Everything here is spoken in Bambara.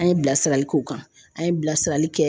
an ye bilasirali k'o kan an ye bilasirali kɛ